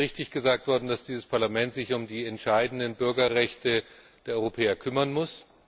Und es ist richtig gesagt worden, dass dieses Parlament sich um die entscheidenden Bürgerrechte der Europäer kümmern muss.